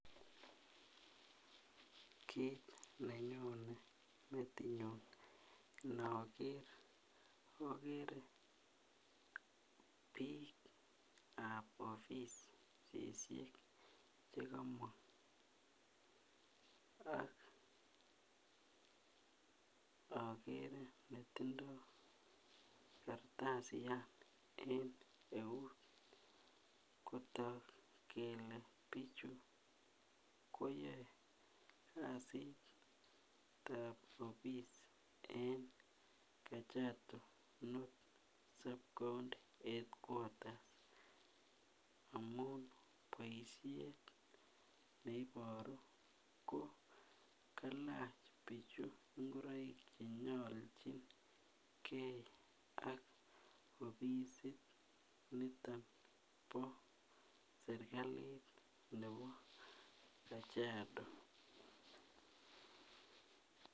Kit nenyone metinyun nokere okere bikab offisisiek chekomong ak okere netindo kartasian en eut kotok kele bichu koyoe kasitab office en kajado north sub county headquators amun boishet neiboru ko kailach bichu ingoroik chenyolchingee ak offisit niton no serkali nebo kajado.